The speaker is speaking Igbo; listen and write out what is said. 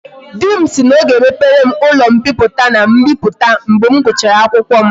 Di m si na o ga emepere m ulo mpiputa and mbiputa mgbe m guchara akwukwo